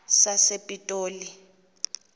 sasepitoli